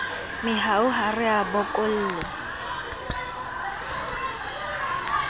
mehau ha re a bokolle